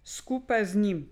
Skupaj z njim.